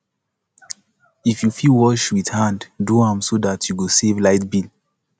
if yu fit wash wit hand do am so dat yu go save light bill